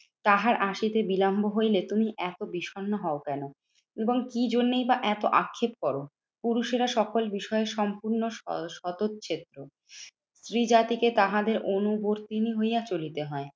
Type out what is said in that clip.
তাহার আসিতে বিলম্ব হইলে তুমি এত বিষন্ন হও কেন? এবং কি জন্যেই বা এত আক্ষেপ করো? পুরুষেরা সকল বিষয়ে সম্পূর্ণ স সতছেত্র স্ত্রী জাতিকে তাহাদের অনুবর্তীনি হইয়া চলিতে হয়।